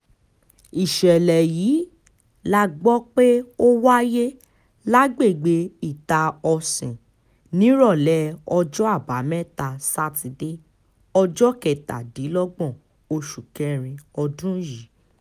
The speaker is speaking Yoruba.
ìṣẹ̀lẹ̀ yìí la gbọ́ pé ó wáyé lágbègbè ità-òsìn nírọ̀lẹ́ ọjọ́ àbámẹ́ta sátidé ọjọ́ kẹtàdínlọ́gbọ̀n oṣù kẹrin ọdún yìí